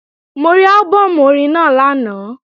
Mo rí álbọ̀mù orin náà lánàá